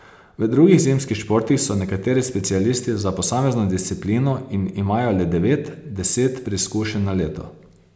V drugih zimskih športih so nekateri specialisti za posamezno disciplino in imajo le devet, deset preizkušenj na leto.